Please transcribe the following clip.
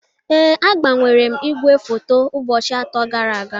Ee, agbanwere m igwefoto ụbọchị atọ gara aga